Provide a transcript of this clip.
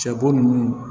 Sɛbo nunnu